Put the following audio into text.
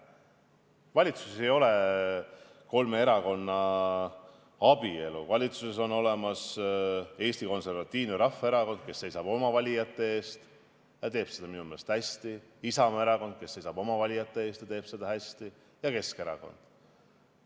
Valitsuses ei ole kolme erakonna abielu, valitsuses on olemas Eesti Konservatiivne Rahvaerakond, kes seisab oma valijate eest, ta teeb seda minu meelest hästi, Isamaa erakond, kes seisab oma valijate eest ja teeb seda hästi, ning Keskerakond.